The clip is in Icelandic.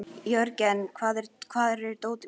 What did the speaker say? Jörgen, hvar er dótið mitt?